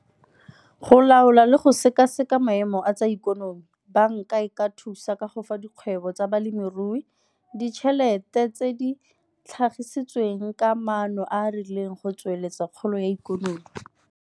Go laola le go sekaseka maemo a tsa ikonomi, banka e ka thusa ka go fa dikgwebo tsa balemirui ditšhelete tse di tlhagisitsweng ka maano a a rileng go tsweletsa kgolo ya ikonomi.